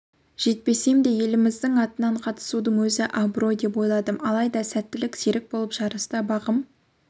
жетпесем де еліміздің атынан қатысудың өзі абырой деп ойладым алайда сәттілік серік болып жарыста бағым